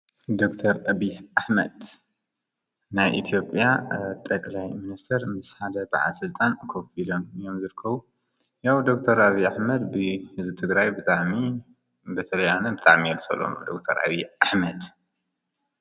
ዶክተር አብይ አሕመድ ናይ ኢትዮጵያ ጠቅላይ ሚኒስቴር ምስ ሓደ በዓል ስልጣን ኮፍ ኢሎም እዮም ዝርከቡ ያዉ ዶክተር አብይ አሕመድ ብህዝቢ ትግራይ ብጣዕሚ በተለይ ኣነ ብጣዕሚ እየ ዝፀልኦ ዶክተር አብይ አሕመድ ።